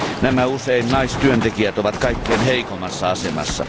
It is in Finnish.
Nämä, usein naistyöntekijät ovat kaikkein heikoimmassa asemassa.